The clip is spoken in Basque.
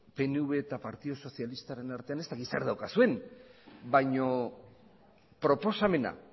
pnv eta partidu sozialistaren artean ez dakit zer daukazuen baino proposamena